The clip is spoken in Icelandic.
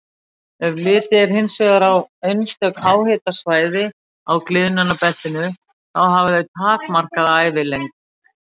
Ef litið er hins vegar á einstök háhitasvæði á gliðnunarbeltinu, þá hafa þau takmarkaða ævilengd.